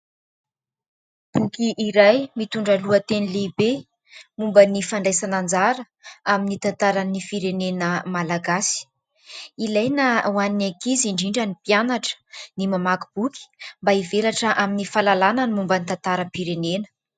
Boky iray mitondra lohateny lehibe momba ny fandraisana anjara amin'ny tantaran'ny firenena malagasy. Ilaina ho an'ny ankizy, indrindra ny mpianatra ny mamaky boky mba hivelatra amin'ny fahalalana ny momba ny tantaram-pirenena.